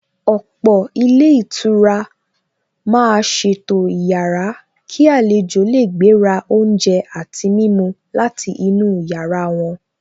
Ọ̀pọ̀ ilé ìtura màá ṣètò ìyára kí àlejò lè gbé ra oúnjẹ àti mímu láti inú yàrá wọn.